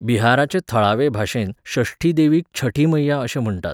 बिहाराचे थळावे भाशेंत षष्ठी देवीक छठी मैया अशें म्हण्टात.